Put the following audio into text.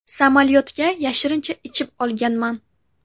Samolyotga yashirincha ichib olganman.